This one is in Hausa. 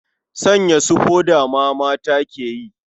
Sanya su foda ma mata ke yi.